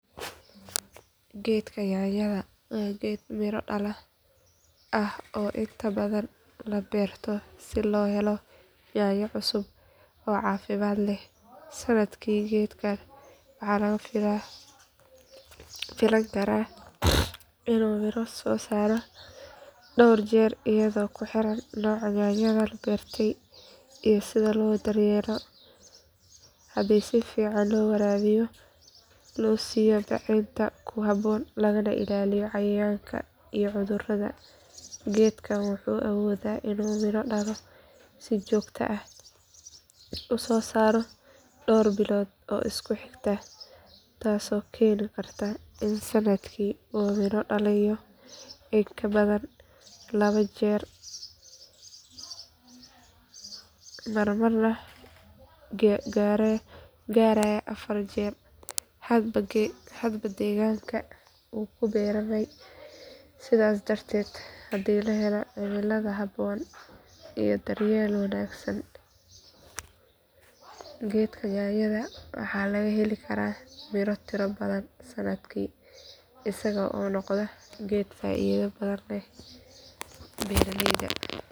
Geedka yaanyada waa geed miro dhala ah oo inta badan la beerto si loo helo yaanyo cusub oo caafimaad leh sannadkii geedkan waxaa laga filan karaa inuu midho soo saaro dhowr jeer iyadoo ku xiran nooca yaanyada la beertay iyo sida loo daryeelo haddii si fiican loo waraabiyo loo siiyo bacrinta ku habboon lagana ilaaliyo cayayaanka iyo cudurrada geedkan wuxuu awoodaa inuu midho si joogto ah u soo saaro dhowr bilood oo isku xigta taasoo keeni karta in sannadkii uu midho dhaliyo in ka badan laba jeer marmarna gaaraya afar jeer hadba deegaanka uu ku beermay sidaas darteed haddii la helo cimilada habboon iyo daryeel wanaagsan geedka yaanyada waxaa laga heli karaa miro tiro badan sannadkii isaga oo noqda geed faa’iido badan leh beeraleyda.